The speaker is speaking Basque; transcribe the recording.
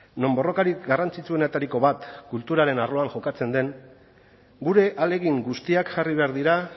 non borrokarik garrantzitsuenetariko bat kulturaren arloan jokatzen den gure ahalegin guztiak jarri behar dira